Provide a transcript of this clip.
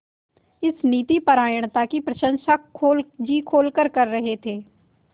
इस नीतिपरायणता की प्रशंसा जी खोलकर कर रहे थे